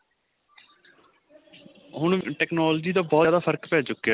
ਹੁਣ technology ਦਾ ਬਹੁਤ ਜਿਆਦਾ ਫਰਕ ਪੈ ਚੁਕਿਆ